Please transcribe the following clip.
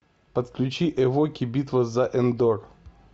подключи эвоки битва за эндор